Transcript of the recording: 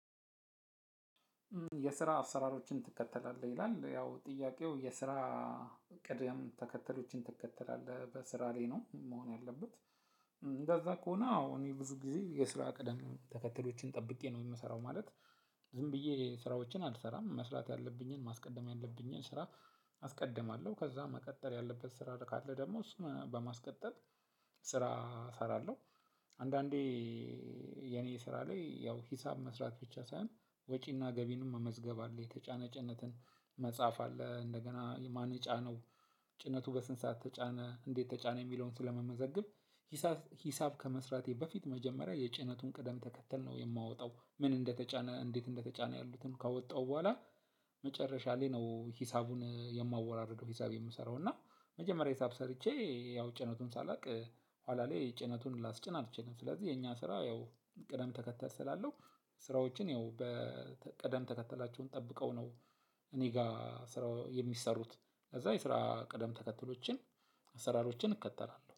የስራ አሰራሮችን ትከተላለህ ይላል ያው ጥያቄው የስራ ቅደም ተከተሎችን ትከተላለህ በስራ ላይ ነው መሆን ያለበት። እንደዛ ከሆነ አዎ እኔ ብዙ ጊዜ የስራ ቅደም ተከተሎችን ጠብቄ ነው የምሰራው ማለት። ዝም ብዬ ስራዎችን አልሰራም መስራት ያለብኝን ማስቀደም ያለብኝን ስራ አስቀድማለሁ ከዛ መቀጠል ያለበት ስራ ካለ ደግሞ እሱን በማስቀጠል ስራ እሰራለሁ። አንዳንዴ የኔ ስራ ላይ ያው ሂሳብ መስራት ብቻ ሳይሆን ወጪና ገቢንም መመዝገብ አለ የተጫነ ጭነትን መጻፍ አለ እንደገና የማን ጫነው ጭነቱ በስንት ሰዓት ተጫነ እንዴት ተጫነ የሚለውን ስለምመዘግብ። ሂሳብ ከመስራቴ በፊት መጀመሪያ የጭነቱን ቅደም ተከተል ነው የማወጣው ምን እንደተጫነ እንዴት እንደተጫነ ያሉትን ካወጣው በኋላ መጨረሻ ላይ ነው ሂሳቡን የማወራርደው። ሂሳብ የምሰራው እና መጀመሪያ ሂሳብ ሰርቼ ያው ጭነቱን ሳላውቅ ኋላ ላይ ጭነቱን ላስጭን አልችልም። ስለዚህ የኛ ስራ ያው ቅደም ተከተል ስላለው ስራዎችን ያው በቅደም ተከተላቸውን ጠብቀው ነው። እኔ ጋር ስራ የሚሰሩት ከዛ የስራ ቅደም ተከተሎችን አሰራሮችን እከተላለሁ